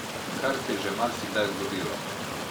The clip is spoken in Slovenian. Kar se je že marsikdaj zgodilo.